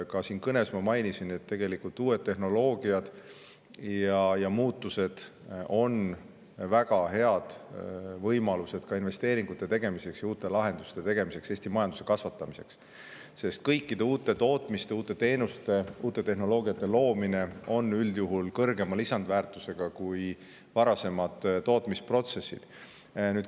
Ka kõnes ma mainisin, et uued tehnoloogiad ja muutused on väga head võimalused ka investeeringute ja uute lahenduste tegemiseks ning Eesti majanduse kasvatamiseks, sest kõikide uute tootmiste, teenuste ja tehnoloogiate loomine on üldjuhul kõrgema lisandväärtusega kui varasemad tootmisprotsessid.